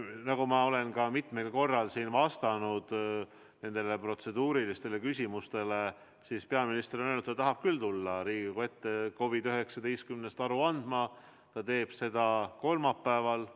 Nagu ma olen juba mitmel korral öelnud protseduurilistele küsimustele vastates, on peaminister öelnud, et ta tahab küll tulla Riigikogu ette COVID-19 kohta aru andma ja ta teeb seda kolmapäeval.